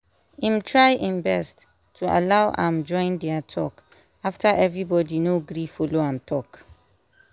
im try im best to allow am join dia talk after everybody no gree follow am talk